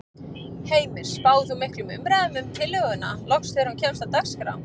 Heimir: Spáir þú miklum umræðum um tillöguna loks þegar hún kemst á dagskrá?